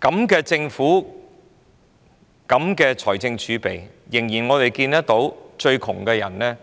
這樣的政府，這麼豐厚的財政儲備，卻仍看到最貧窮的人